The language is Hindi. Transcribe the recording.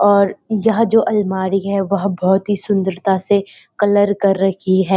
और यह जो अलमारी है वह बहुत ही सुंदरता से कलर कर रखी है।